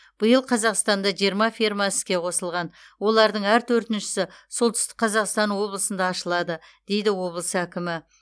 биыл қазақстанда жмырма ферма іске қосылған олардың әр төртіншісі солтүстік қазақстан облысында ашылады дейді облыс әкімі